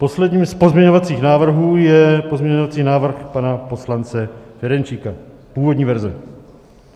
Posledním z pozměňovacích návrhů je pozměňovací návrh pana poslance Ferjenčíka, původní verze.